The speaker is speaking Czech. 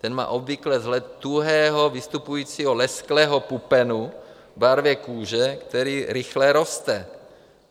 Ten má obvykle vzhled tuhého vystupujícího lesklého pupenu v barvě kůže, který rychle roste.